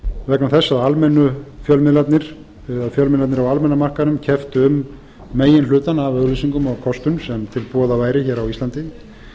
vegna þess að almennu fjölmiðlarnir eða fjölmiðlarnir á almenna markaðnum kepptu um meginhlutann af auglýsingum og kostun sem til boða væri hér á íslandi